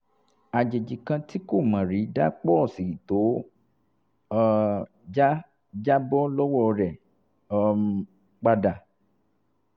àjèjì kan tí kò mọ̀ rí dá pọ́ọ̀sì tó um já já bọ́ lọ́wọ́ rẹ̀ um pa dà